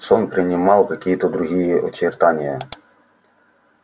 сон принимал какие-то другие очертания